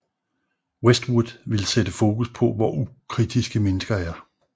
Westwood ville sætte fokus på hvor ukritiske mennesker er